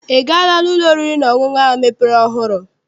I gaala n'ụlọ oriri na ọṅụṅụ ahụ mepere ọhụụ?